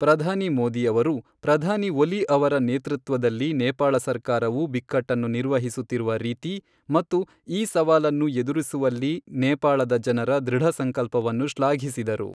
ಪ್ರಧಾನಿ ಮೋದಿ ಅವರು ಪ್ರಧಾನಿ ಒಲಿ ಅವರ ನೇತೃತ್ವದಲ್ಲಿ ನೇಪಾಳ ಸರ್ಕಾರವು ಬಿಕ್ಕಟ್ಟನ್ನು ನಿರ್ವಹಿಸುತ್ತಿರುವ ರೀತಿ ಮತ್ತು ಈ ಸವಾಲನ್ನು ಎದುರಿಸುವಲ್ಲಿ ನೇಪಾಳದ ಜನರ ದೃಢಸಂಕಲ್ಪವನ್ನು ಶ್ಲಾಘಿಸಿದರು.